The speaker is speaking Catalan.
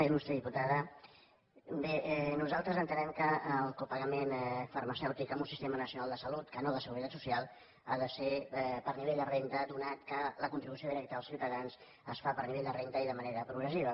il·lustre diputada bé nosaltres entenem que el copagament farmacèutic en un sistema nacional de salut que no de seguretat social ha de ser per nivell de renda atès que la contribució directa dels ciutadans es fa per nivell de renda i de manera progressiva